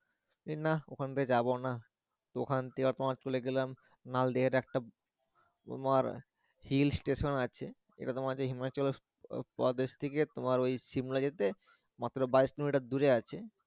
না ওখান দিয়ে যাবো না তো ওখান থেকে তোমার চলে গেলাম নালদের একটা তোমার হিল স্টেশন আছে এটা তোমাকে হিমাচল প্রদেশ থেকে তোমার ওই শিমলা যেতে মাত্র বাইশ কিলোমিটার দূরে আছে।